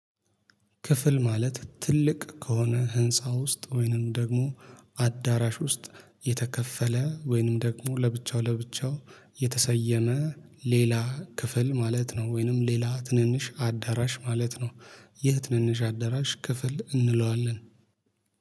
ክፍል ማለት ትልቅ ከሆነ ህንፃ ውስጥ ወይንም ደግሞ አዳራሽ ውስጥ የተከፈለ ወይንም ደግሞ ለብቻው ለብቻው የተሰየመ ሌላ ክፍል ማለት ነው። ወይንም ሌላ ትንንሽ አዳራሽ ማለት ነው። የህ ትንንሽ አዳራሽ ክፍል እንለዋለን